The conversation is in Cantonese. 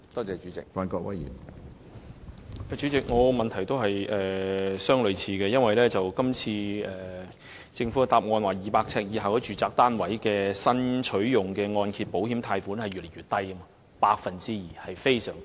政府在主體答覆表示 ，200 呎以下的住宅單位佔新取用按揭保險貸款宗數的比例越來越低，只佔 2%。